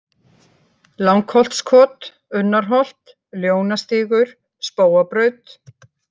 Langholtskot, Unnarholt, Ljónastígur, Spóabraut